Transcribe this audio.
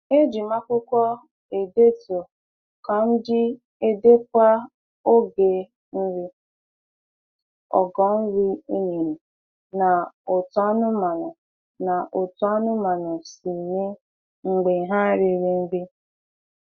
Ejim akwụkwọ edetu ka m ji edekwa oge nri, ogo nri e nyere, na otú anụmanụ na otú anụmanụ si mee mgbe ha riri nri